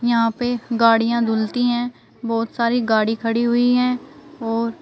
यहां पे गाडियां धूलती है बहोत सारी गाड़ी खड़ी हुई है और--